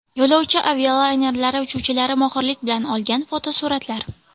Yo‘lovchi avialaynerlari uchuvchilari mohirlik bilan olgan fotosuratlar .